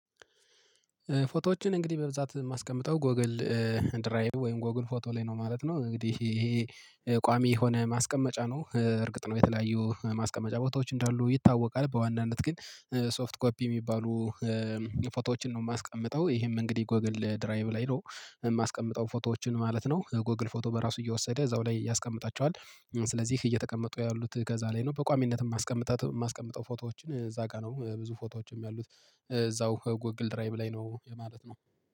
ፎቶዎችን እንግዲህ በብዛት የማስቀምጠው ጎግል ድራይ ወይም ጎግል ፎቶ ላይ ነው ማለት ነው። እንግዲህ ይሄ ቋሚ የሆነ ማስቀመጫ ነው። እርግጥ ነው የተለያዩ ማስቀመጫ ቦታዎች እንዳሉ ይታወቃል። በዋናነት ግን ሶፍት ኮፒ የሚባሉ ፎቶዎችን ነው የማስቀምጠው። ይሄም እንግዲህ ጎግል ድራይቭ ላይ ነው የማስቀምጠው ፎቶዎችን ማለት ነው። ጎግል ፎቶ በራሱ እየወሰደ እዛው ላይ ያስቀምጣቸዋል። ስለዚህ እየተቀመጡ ያሉት ገዛ ላይ ነው በቋሚነት የማስቀምጠው። ፎቶዎችን እዛ ጋር ነው ብዙ ፎቶዎችም ያሉት። እዛው ጎግል ድራይብ ላይ ነው የማለት ነው።